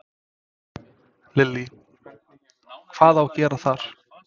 Lillý: Hvað á að gera þar?